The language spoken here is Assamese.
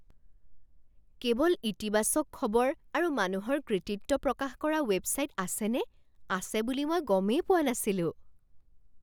কেৱল ইতিবাচক খবৰ আৰু মানুহৰ কৃতিত্ব প্ৰকাশ কৰা ৱেবছাইট আছেনে? আছে বুলি মই গমেই পোৱা নাছিলো।